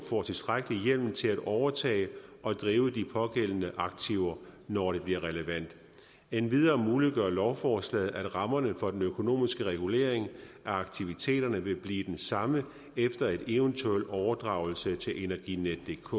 får tilstrækkelig hjemmel til at overtage og drive de pågældende aktiver når det bliver relevant endvidere muliggør lovforslaget at rammerne for den økonomiske regulering af aktiviteterne vil blive den samme efter en eventuel overdragelse til energinetdk